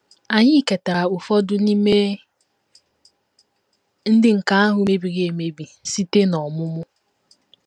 Anyị ketara ụfọdụ n’ime ndị nke ahụ mebiri emebi site n’ọmụmụ.